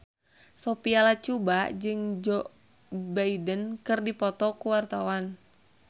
Sophia Latjuba jeung Joe Biden keur dipoto ku wartawan